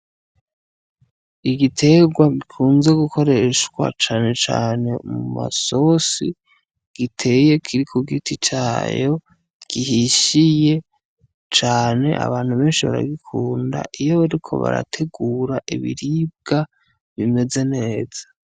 Igiterwa gikunzwe gukoreshwa canecane mu masosi giteye kiri ku giti cayo gihishiye cane abantu beshi baragikunda iyo bariko barategura ibiribwa bimeze neza.